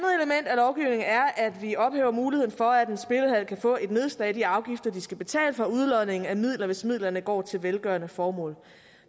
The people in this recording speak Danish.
et er at vi ophæver muligheden for at en spillehal kan få et nedslag i de afgifter de skal betale for udlodning af midler hvis midlerne går til velgørende formål